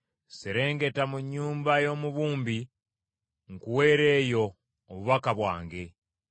“Serengeta mu nnyumba y’omubumbi nkuweere eyo obubaka bwange.”